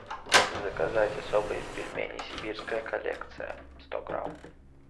заказать особые пельмени сибирская коллекция сто грамм